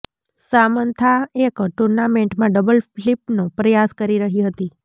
Samantha એક ટૂર્નામેન્ટમાં double ફ્લિપનો પ્રયાસ કરી રહી હતી